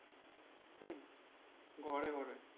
হম ঘরে ঘরে।